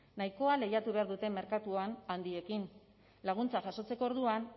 nahikoa lehiatu behar dute merkatuan handiekin laguntza jasotzeko orduan